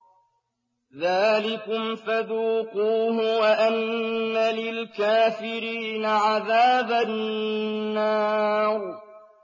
ذَٰلِكُمْ فَذُوقُوهُ وَأَنَّ لِلْكَافِرِينَ عَذَابَ النَّارِ